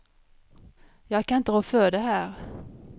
Jag kan inte rå för det här.